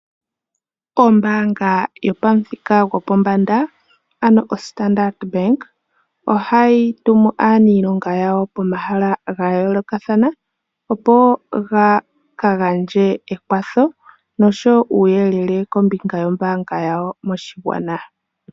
Ombaanga yopamuthika gopombanda, ano oStandard Bank ohayi tumu aanilonga yayo pomahala ga yoolokathana, opo ya ka gandje ekwatho nosho wo uuyelele kombinga yombaanga yawo moshigwana.